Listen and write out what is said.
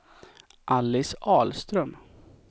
Alice Ahlström